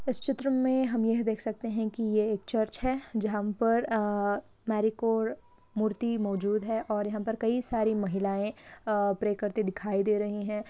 इस चित्र में हम यह देख सकते है की ये एक चर्च है जहाँ पर अ मेरिकोरे मूर्ति मौजूद है और यहाँ पर कई सारी महिलाएं अ प्रे करती दिखाई दे रही हैं ।